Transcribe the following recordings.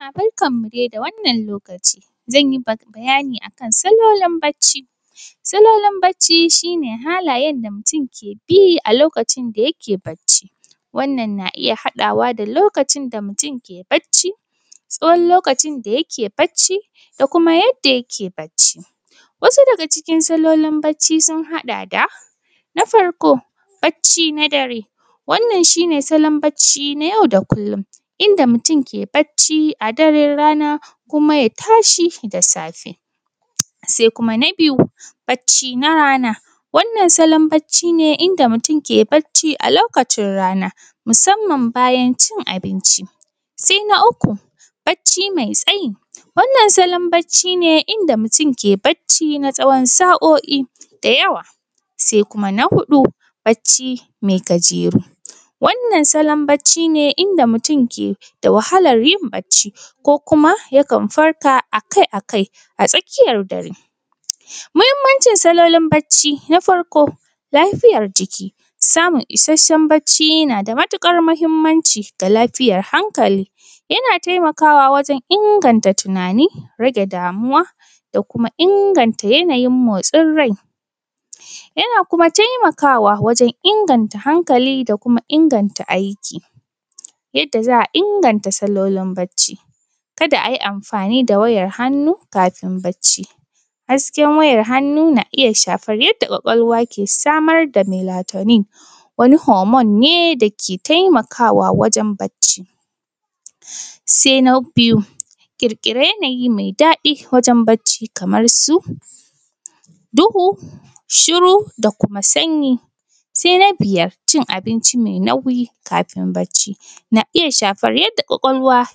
Barkanmu dai da wannan lokaci. Zan yi bayani akan salolin barci. Salolin barci shi ne halayen da mutum ke bi a lokacin da yake barci, wannan na iya haɗawa da lokacin da mutum ke barci, tsawon lokacin da yake barci da kuma yadda yake barci. Wasu daga cikin salolin barci sun haɗa da: Na farko, barci na dare, wannan shi ne salon barci na yau da kullum inda mutum ke barci a daran rana kuma ya tashi da safe. Sai na biyu barci na rana, wannan salon barci ne inda mutum ke barci a lokacin rana, musamman bayan cin abinci. Sai na uku, barci mai tsayi, wannan salon barci ne inda mutum ke barci na tsawon sa’o’i da yawa. Sai kuma na huɗu, barci mai gajeru, wannan salon barci ne inda mutum ke da wahalar yin barci, ko kuma yakan farka akai-akai a tsakiyar dare. Mahimmanci salolin barci: Na farko, lafiyar jiki, samun barci isashen nada matuƙar mahimmanci ga lafiyar hankali, yana taimakawa wurin inganta tunani, rage damuwa, da kuma inganta yana yin motsin rai. Yana kuma taimakawa wajen inganta hankali da kuma inganta aiki. Yadda za a inganta dalolin barci: kada ayi amfani da wayar hannu kafin barci, hasken wayar hannu na iya shafan yadda ƙwaƙwalwa ke samar da lemotani, wani homon ne dake taimakawa wajen barci. Sai na biyu, ƙirƙira yana yi mai daɗi wajen barci kaman su, duhu, shiru, da kuma sanyi. Sai na biyar, cin abinci mai nauyi kafin barci, na iya shafar yadda ƙwaƙwalwa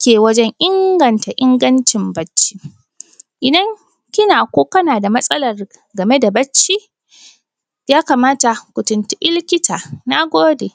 ke wajen inganta ingancin barci. Idan kina ko kana da matsalar game da barci ya kamata ku tuntuɓi likita. Na gode.